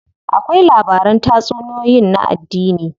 Akwai labaran tatsuniyoyin na addini.